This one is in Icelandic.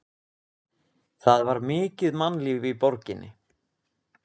Það var mikið mannlíf í borginni.